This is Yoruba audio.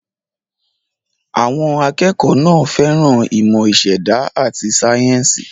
Àwọn akẹ́kọ̀ọ́ náà fẹ́ràn ìmọ̀ ìṣẹ̀dá àti sáyẹ́ńsì.